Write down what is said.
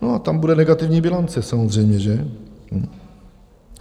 No a tam bude negativní bilance samozřejmě, že?